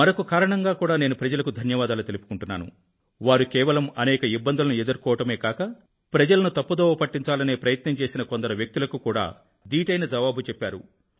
మరొక కారణంగా కూడా నేను ప్రజలకు ధన్యవాదాలు తెలుపుకుంటున్నాను వారు కేవలం అనేక ఇబ్బందులను ఎదుర్కోవడమే కాక ప్రజలను తప్పుదోవ పట్టించాలనే ప్రయత్నం చేసిన కొందరు వ్యక్తులకు కూడా ధీటైన జవాబు చెప్పారు